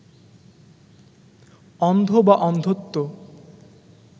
অন্ধ বা অন্ধত্ব